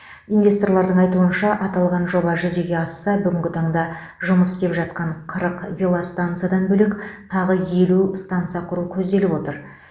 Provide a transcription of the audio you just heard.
инвесторлардың айтуынша аталған жоба жүзеге асса бүгінгі таңда жұмыс істеп жатқан қырық велостансадан бөлек тағы елу станса құру көзделіп отыр